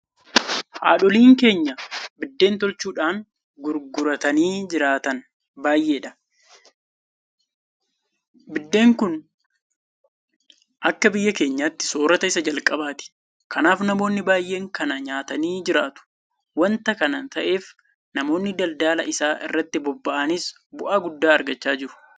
Haadholiin keenya biddeen tolchuudhaan gurguratanii jiraatan bay'eedha. Biddeen kun akka biyya kanaatti soorrata isa jalqabaati. Kanaaf namoonni baay'een kana nyaatanii jiraatu. Waanta kana ta'eef namoonni daldala isaa irratti bobba'anis bu'aa guddaa irraa argachaa jiru.